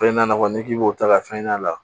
Fɛn ɲɛnabɔ n'i k'i b'o ta ka fɛn ɲɛna